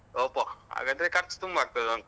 ಒಬ್ಬ ಹಾಗಾದ್ರೆ ಖರ್ಚ್ ತುಂಬ ಆಗ್ತದಾಂತ.